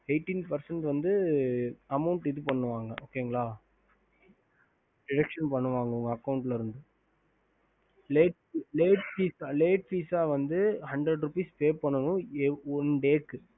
ஹம்